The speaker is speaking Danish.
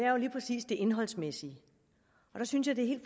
indholdsmæssige og der synes jeg det